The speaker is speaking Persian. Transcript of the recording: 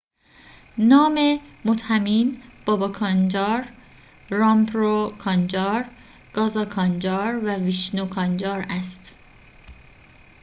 نام متهمین بابا کانجار رامپرو کانجار گازا کانجار و ویشنو کانجار است